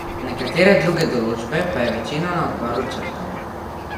Nekatere druge določbe pa je večina na odboru črtala.